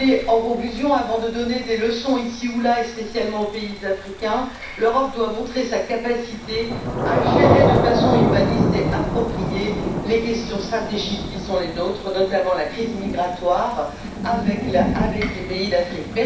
En conclusion, avant de donner des leçons ici ou là et spécialement aux pays africains, l'Europe doit montrer sa capacité à gérer de façon humaniste et appropriée les questions stratégiques qui sont les nôtres, notamment la crise migratoire avec les pays d'Afrique.